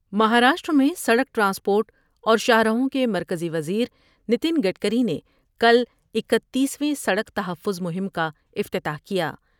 مہاراشٹر میں سڑک ٹرانسپورٹ اور شاہراہوں کے مرکزی و زیریتن گڈکری نے کل اکتیس رو میں سڑک تحفظ مہم کا افتتاح کیا ۔